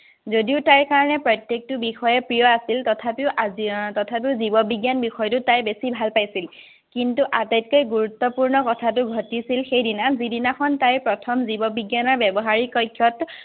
যদিও তাইৰ কাৰণে প্ৰত্যকটো বিষয়ে প্ৰিয় আছিল, তথাপিও আজি উম তথাপিও জীৱবিজ্ঞান বিষয়টো তাই বেছি ভাল পাইছিল। কিন্তু আটাইতকৈ গুৰুত্বপূৰ্ণ কথাটো ঘটিছিল সেইদিনা, যিদিনাখন তাই প্ৰথম জীৱবিজ্ঞানৰ ব্যৱহাৰিক কক্ষত